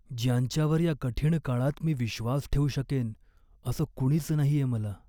ज्यांच्यावर या कठीण काळात मी विश्वास ठेवू शकेन असं कुणीच नाहीये मला.